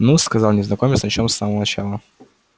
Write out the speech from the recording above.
ну-с сказал незнакомец начнём с самого начала